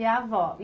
E a avó.